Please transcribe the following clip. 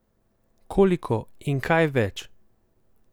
Koliko in kaj več?